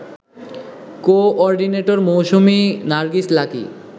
co-ordinator Mousumi Nargis lucky